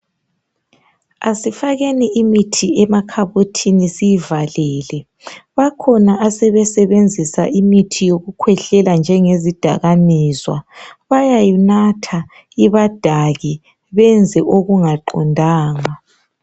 Asifakeni imithi emakhabothini siyivalele. Bakhona asebesebenzisa imithi yokukhwehlela njengezidakamizwa. Bayayinatha, ibadake benze okungaqondanga.